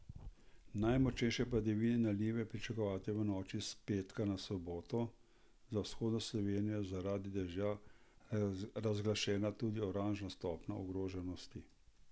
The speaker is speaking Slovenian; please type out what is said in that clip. Najmočnejše padavine in nalive je pričakovati v noči s petka na soboto, za vzhodno Slovenijo je zaradi dežja razglašena tudi oranžna stopnja ogroženosti.